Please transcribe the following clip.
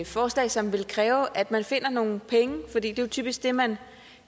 et forslag som vil kræve at man finder nogle penge for det er jo typisk det man